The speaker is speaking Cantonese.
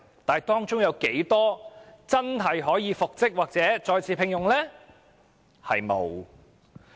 但是，當中有多少僱員可以真正復職或再次獲聘？